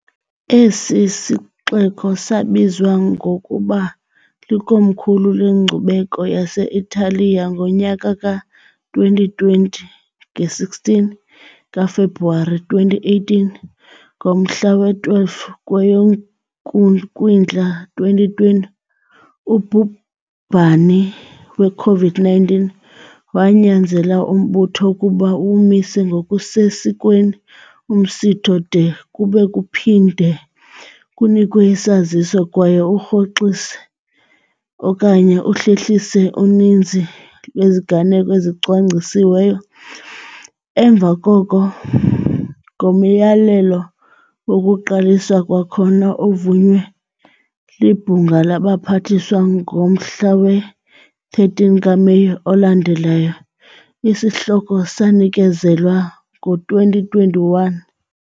Esi sixeko sabizwa ngokuba likomkhulu lenkcubeko yase-Italiya ngonyaka ka-2020 nge-16 kaFebruwari 2018, ngomhla we-12 kweyoKwindla 2020 ubhubhani we-COVID-19 wanyanzela umbutho ukuba uwumise ngokusesikweni umsitho de kube kuphinde kunikwe isaziso kwaye urhoxise okanye uhlehlise uninzi lweziganeko ezicwangcisiweyo, emva koko, ngomyalelo wokuQaliswa kwakhona ovunywe liBhunga labaPhathiswa ngomhla we-13 kaMeyi olandelayo, isihloko sanikezelwa ngo-2021.